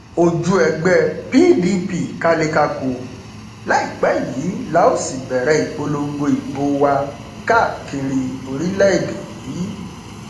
ojú ẹgbẹ pdp kalẹ kákò láìpẹ yìí la ó sì bẹrẹ ìpolongo ìbò wa káàkiri orílẹèdè yìí